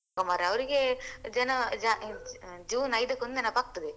ಮರ ಅವರಿಗೆ ಜನ~ ಜ~ June ಐದಕ್ಕೆ ಒಂದು ನೆನಪಾಗ್ತದೆ.